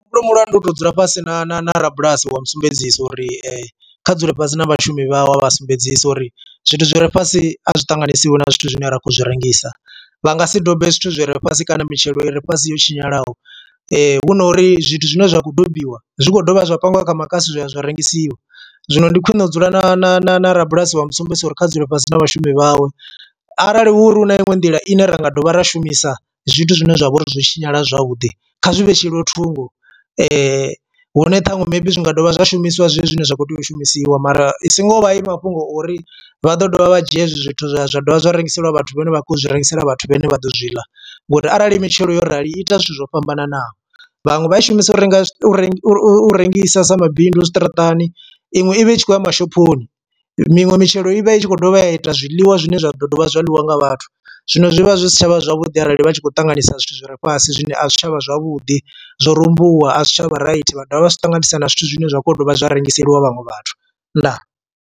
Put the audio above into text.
Mulandu u to dzula fhasi na na na rabulasi wa mu sumbedzisa uri kha dzule fhasi na vha shumi vhawe a vha sumbedzisa uri zwithu zwi re fhasi a zwi ṱanganyisiwe na zwithu zwine ra khou zwi rengisa, vha nga si dobe zwithu zwi re fhasi kana mitshelo i re fhasi yo tshinyalaho hu no uri zwithu zwine zwa kho dobiwa zwi dovha zwa pangiwa kha makasi zwa ya zwa rengisiwa. Zwino ndi khwine u dzula na na na na rabulasi vha mu sumbedzisa uri kha dzule fhasi na vhashumi vhawe. Arali hu uri hu na iṅwe nḓila ine ra nga dovha ra shumisa zwithu zwine zwa vha uri zwo tshinyala zwavhuḓi kha zwi vhetshelwe thungo hune ṱhaṅwe maybe zwi nga dovha zwa shumiswa zwezwo zwine zwa kho tea u shumisiwa mara i singo vha i mafhungo ori vha ḓo dovha vha dzhia hezwi zwithu zwa zwa dovha zwa rengiseliwa vhathu vhane vha khou zwi rengisela vhathu vhane vha ḓo zwi ḽa ngori arali mitshelo yo rali ita zwithu zwo fhambananaho, vhaṅwe vha i shumisa u renga u rengisa sa mabindu zwiṱaraṱani iṅwe ivha i tshi khou ya mashophoni, minwe mitshelo i vha i tshi khou dovha ya ita zwiḽiwa zwine zwa ḓo dovha zwa ḽiwa nga vhathu. Zwino zwivha zwi si tshavha zwavhuḓi arali vha tshi khou ṱanganisa zwithu zwi re fhasi zwine a zwi si tshavha zwavhuḓi zwo rumbuwa a zwi tsha vha raithi vha dovha vha zwi ṱanganisa na zwithu zwine zwa kho dovha zwa rengiseliwa vhaṅwe vhathu, ndaa.